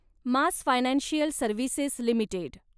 mass financial services limited